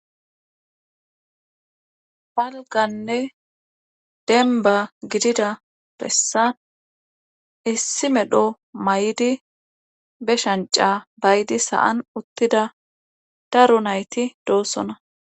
Dalganne demba gidida bessan issi medho may7di be shanca baydi sa7an uttida daru nayti doossona